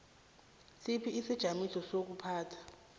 sipha isijamiso sezokuphatha